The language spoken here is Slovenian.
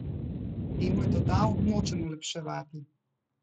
Temu je dodal: "Nočem olepševati.